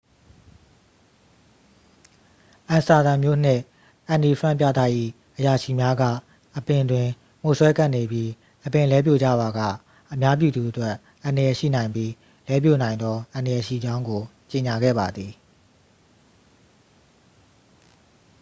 အမ်စတာဒမ်မြို့နှင့် အန်နီဖရန့်ပြတိုက်၏ အရာရှိများက အပင်တွင် မှိုစွဲကပ်နေပြီး အပင်လဲပြိုကျပါက အများပြည်သူအတွက် အန္တရာယ်ရှိနိုင်ပြီး လဲပြိုနိုင်သောအန္တရာယ်ရှိကြောင်းကို ကြေညာခဲ့ပါသည်